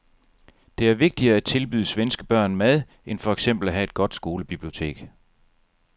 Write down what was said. Det er vigtigere at tilbyde svenske børn mad end for eksempel at have et godt skolebibliotek.